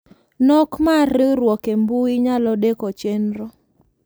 Nok mar riwruok embui nyalo deko chenro.